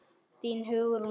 Þín, Hugrún Sif.